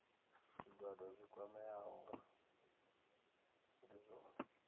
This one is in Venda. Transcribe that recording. zwigwada zwi kwameaho ndi zwone